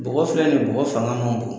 Bɔgɔ filɛ nin ye bɔgɔ fanga man bon